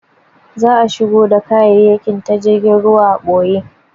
Za'a shigo da kayayyakin ta jirgin ruwa a ɓoye.